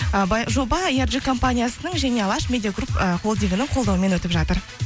і жоба компаниясының және алаш медиагруп ы холдингінің қолдауымен өтіп жатыр